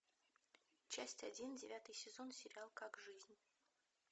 часть один девятый сезон сериал как жизнь